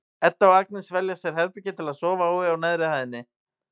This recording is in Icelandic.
Edda og Agnes velja sér herbergi til að sofa í á neðri hæðinni.